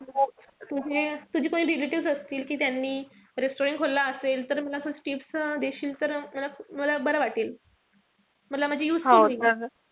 तुझे तुझे कोणी relatives असतील कि त्यांनी restaurant खोलला असेल. तर मला tips देशील तर. मला मला बर वाटेल. मला म्हणजे useful होईल